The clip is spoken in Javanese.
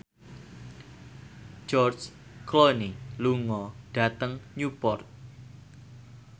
George Clooney lunga dhateng Newport